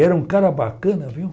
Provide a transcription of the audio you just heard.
Era um cara bacana, viu?